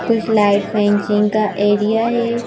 कुछ लाइट में इचिंग का एरिया है।